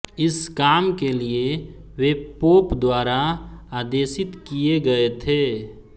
इस काम के लिए वे पोप द्वारा आदेशित किये गए थे